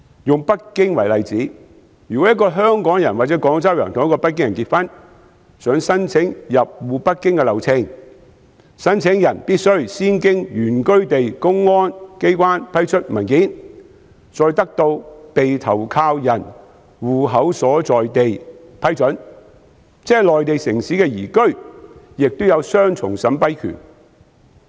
以北京為例，如果一個香港人或廣州人與北京人結婚，想申請入戶北京，流程是申請人必須先經原居地公安機關批出文件，再得到被投靠人戶口所在地批准，即內地城市的移居亦有雙重審批權。